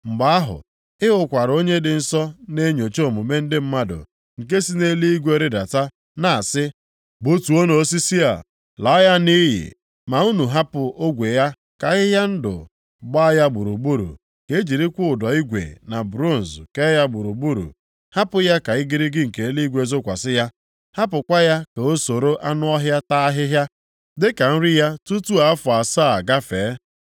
“Mgbe ahụ, ị hụkwara onye dị nsọ na-enyocha omume ndị mmadụ nke si nʼeluigwe rịdata na-asị, ‘Gbutuonụ osisi a, laa ya nʼiyi, ma unu hapụ ogwe ya ka ahịhịa ndụ gbaa ya gburugburu, ka e jirikwa ụdọ igwe na bronz kee ya gburugburu; hapụ ya ka igirigi nke eluigwe zokwasị ya. Hapụkwa ya ka o soro anụ ọhịa taa ahịhịa dịka nri ya tutu afọ asaa a gafee.’